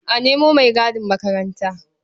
A nemo maigadin makaranta.